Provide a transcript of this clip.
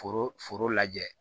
Foro foro lajɛ